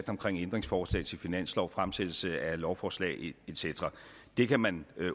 ændringsforslag til finanslov og fremsættelse af lovforslag et cetera det kan man